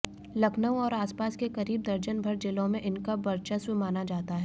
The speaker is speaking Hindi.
लखनऊ और आसपास के करीब दर्जन भर जिलों में इनका बर्चस्व माना जाता है